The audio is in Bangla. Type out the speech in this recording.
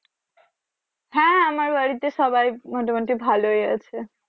হ্যা আমার বাড়িতে সবাই মোটামুটি ভালোই আছে